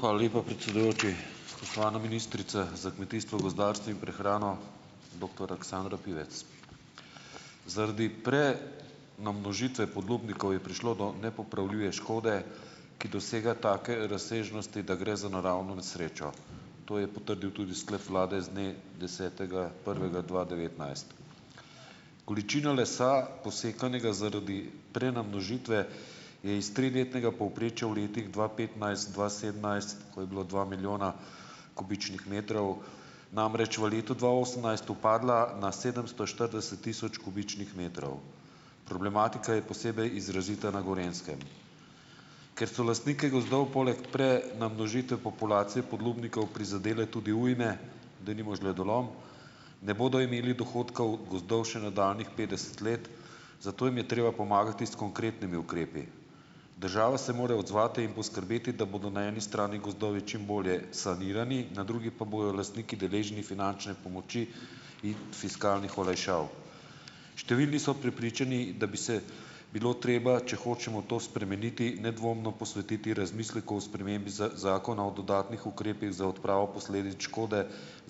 Hvala lepa, predsedujoči. Spoštovana ministrica za kmetijstvo, gospodarstvo in prehrano, doktor Aleksandra Pivec. Zaradi namnožitve ponudnikov je prišlo do nepopravljive škode, ki dosega take razsežnosti, da gre za naravno nesrečo. To je potrdil tudi sklep vlade z dne desetega prvega dva devetnajst. Količino lesa, posekanega zaradi prenamnožitve, je iz triletnega povprečja v letih dva petnajst-dva sedemnajst, ko je bilo dva milijona kubičnih metrov, namreč v letu dva osemnajst upadla na sedemsto štirideset tisoč kubičnih metrov. Problematika je posebej izrazita na Gorenjskem. Ker so lastnike gozdov poleg prenamnožitve populacije podlubnikov prizadele tudi ujme, denimo žledolom, ne bodo imeli dohodkov gozdov še nadaljnjih petdeset let, zato jim je treba pomagati s konkretnimi ukrepi. Država se mora odzvati in poskrbeti, da bodo na eni strani gozdovi čim bolje sanirani, na drugi pa bojo lastniki deležni finančne pomoči in fiskalnih olajšav. Številni so prepričani, da bi se bilo treba, če hočemo to spremeniti, nedvomno posvetiti razmislek o spremembi Zakona o dodatnih ukrepih za odpravo posledic škode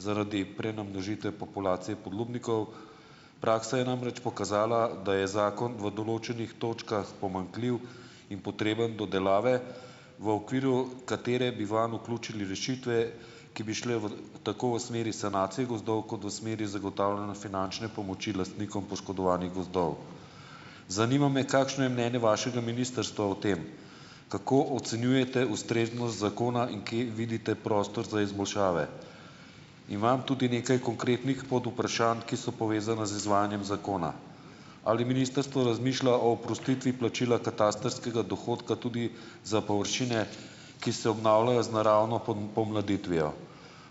zaradi prenamnožitve populacije podlubnikov. Praksa je namreč pokazala, da je zakon v določenih točkah pomanjkljiv in potreben dodelave, v okviru katere bi vanj vključili rešitve, ki bi šle v tako v smeri sanacije gozdov, kot v smeri zagotavljanja finančne pomoči lastnikom poškodovanih gozdov. Zanima me, kakšno je mnenje vašega ministrstva o tem. Kako ocenjujete ustreznost zakona in kje vidite prostor za izboljšave? Imam tudi nekaj konkretnih podvprašanj, ki so povezana z izvajanjem zakona. Ali ministrstvo razmišlja o oprostitvi plačila katastrskega dohodka tudi za površine, ki se obnavljajo z naravno pomladitvijo?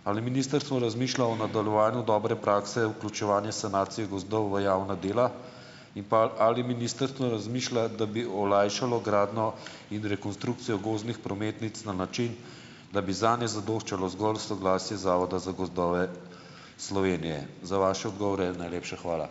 Ali ministrstvo razmišlja o nadaljevanju dobre prakse, vključevanje sanacije gozdov v javna dela? In pa, ali ministrstvo razmišlja, da bi olajšalo gradnjo in rekonstrukcijo gozdnih prometnic na način, da bi zadnje zadoščalo zgolj soglasje Zavoda za gozdove Slovenije? Za vaše odgovore najlepša hvala.